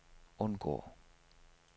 undgå